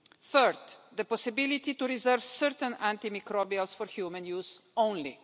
third, the possibility to reserve certain antimicrobials for human use only